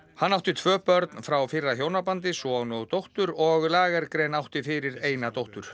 hann átti tvö börn frá fyrra hjónabandi son og dóttur og átti fyrir eina dóttur